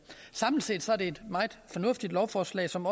samlet set er det et meget fornuftigt lovforslag som